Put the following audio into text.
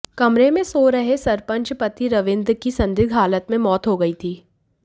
कमरे में सो रहे सरपंच पति रवींद्र की संदिग्ध हालत में मौत हो गई थी